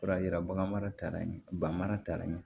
O y'a yira bagan mara ye banmara taara ɲɛ